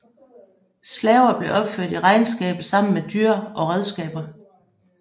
Slaver blev opført i regnskabet sammen med dyr og redskaber